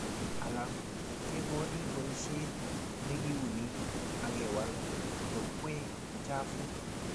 alak kegoni boishet negiuni agewal yokwee chafuk